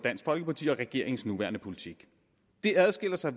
regeringens nuværende politik det adskiller sig